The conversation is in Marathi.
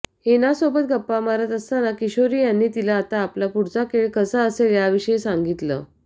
हिनासोबत गप्पा मारत असताना किशोरी यांनी तिला आता आपला पुढचा खेळ कसा असेल याविषयी सांगतलं